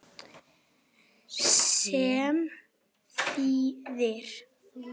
sem þýðir